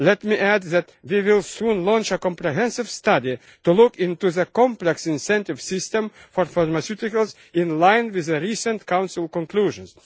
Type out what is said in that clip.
Let me add that we will soon launch a comprehensive study to look into the complex incentive system for pharmaceuticals, in line with the recent Council conclusions.